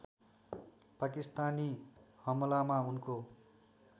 पाकिस्तानी हमलामा उनको